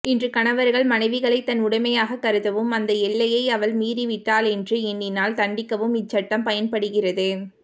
இன்று கணவர்கள் மனைவிகளை தன் உடைமையாகக் கருதவும் அந்த எல்லையை அவள் மீறிவிட்டாளென்று எண்ணினால் தண்டிக்கவும் இச்சட்டம் பயன்படுகிறது